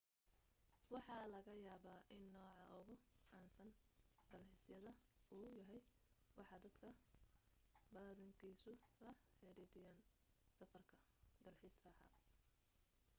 waxa laga yaaba in nooca ugu caansan dalxiisyada uu yahay waxa dadka badankiisu la xidhiidhiyaan safarka dalxiis raaxo